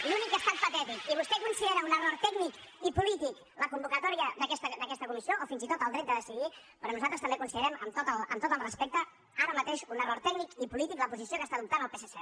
l’únic que ha estat patètic i vostè considera un error tècnic i polític la convocatòria d’aquesta comissió o fins i tot el dret a decidir però nosaltres també consi·derem amb tot el respecte ara mateix un error tècnic i polític la posició que està adoptant el psc